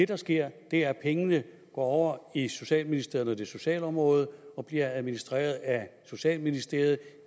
der sker er at pengene går over i socialministeriet er socialområdet og bliver administreret af socialministeriet